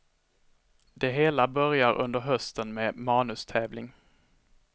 Det hela börjar under hösten med manustävling.